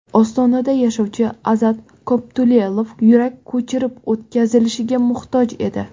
Ostonada yashovchi Azat Koptulelov yurak ko‘chirib o‘tkazilishiga muhtoj edi.